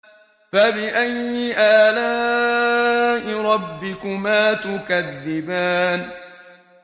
فَبِأَيِّ آلَاءِ رَبِّكُمَا تُكَذِّبَانِ